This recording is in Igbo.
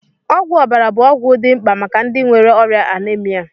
Ọgwụ ọbara bụ ọgwụ dị mkpa maka ndị nwere ọrịa Anemia